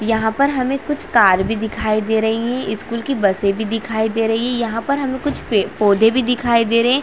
यहाँ पर हमे कुछ कार भी दिखाई दे रही है स्कूल की बसे भी दिखाई दे रही है यहाँ पर हमे कुछ पेड़ पौधे भी दिखाई दे रही है।